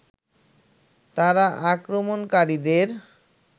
তারা আক্রমণকারীদের